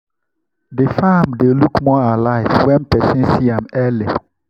the farm dey look more alive when person see am early.